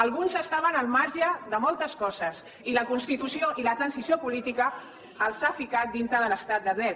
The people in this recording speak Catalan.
alguns estaven al marge de moltes coses i la constitució i la transició política els ha ficat dintre de l’estat de dret